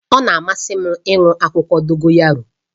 Ọ na-amasị m iwere akwụkwọ Dogoyaro